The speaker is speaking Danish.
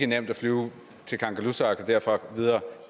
nemt at flyve til kangerlussuaq og derfra videre